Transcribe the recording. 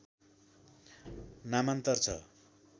नामान्तर छ